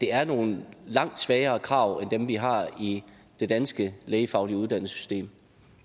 er nogle langt svagere krav end dem vi har i det danske lægefaglige uddannelsessystem